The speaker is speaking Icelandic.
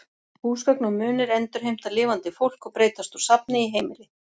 Húsgögn og munir endurheimta lifandi fólk og breytast úr safni í heimili.